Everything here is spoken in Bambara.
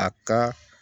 A ka